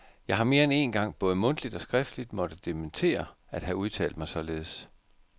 Jeg har mere end én gang både mundtligt og skriftligt måtte dementere at have udtalt mig således.